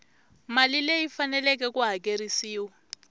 mali leyi faneleke ku hakerisiwa